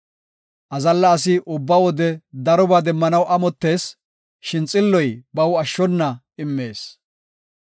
Azalla asi ubba wode darobaa demmanaw amottees; shin xilloy baw ashshona immees.